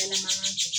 Kalaman